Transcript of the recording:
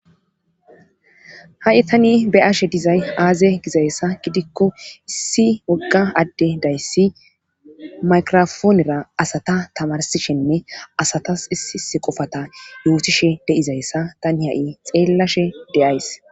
ha7i tani be'ashe dizay aaze gizayssa gidikko issi wogga adde dayssi maykrofoonera asata tamarsishenne asatas issiisi qofata yootishe deizayssa tani ha7i xeellashe de'ays